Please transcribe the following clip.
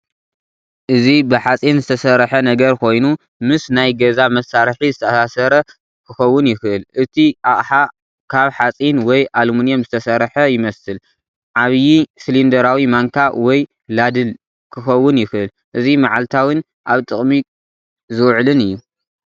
እዚ ብሓጺን ዝተሰርሐ ነገር ኮይኑ፡ ምስ ናይ ገዛ መሳርሒ ዝተኣሳሰር ክኸውን ይኽእል። እቲ ኣቕሓ ካብ ሓጺን ወይ ኣሉሚንየም ዝተሰርሐ ይመስል። ዓቢ ሲሊንደራዊ ማንካ ወይ ላድል ክኸውን ይኽእል። እዚ መዓልታዊን ኣብ ጥቕሚ ዝውዕልን እዩ።